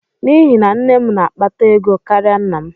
N'ihi na nne m na-akpata ego karịa nna m.